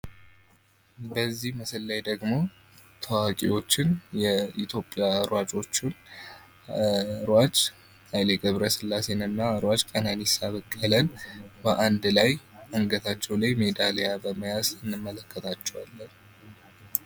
በዚህ ምስል ላይ ደግሞ ታዋቂዎችን የኢትዮጵያ ሯጮችን ሯጭ ኃይለገብረስላሴንና ሯጭ ቀነኒሳ በቀልን በአንድ ላይ አንገታቸው ላይ ሜዲያሊያ በመያዝ እንመለከታቸዋለን።